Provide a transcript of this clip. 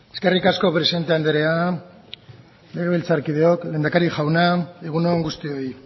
eskerrik asko presidente anderea legebiltzarkideok lehendakari jauna egun on guztioi